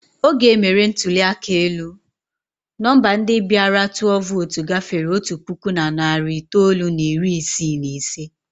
Oge e mere ntụli aka elu, nọmba ndị bịara tụọ vootu gafere otu puku na narị itoolu na iri isii na ise.